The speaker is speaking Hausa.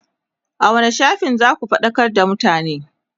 a wani shafin zaku faɗakar da mutane?